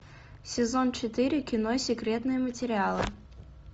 сезон четыре кино секретные материалы